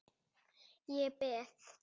Ég beið.